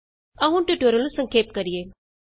ਆਉ ਹੁਣ ਟਿਯੂਟੋਰਿਅਲ ਨੂੰ ਸੰਖੇਪ ਕਰੀਏ